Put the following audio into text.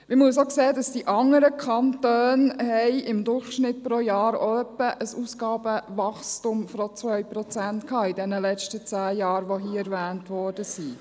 Man muss auch sehen, dass die anderen Kantone, die hier erwähnt worden sind, in den letzten zehn Jahren im Durchschnitt auch ein Ausgabenwachstum von 2 Prozent hatten.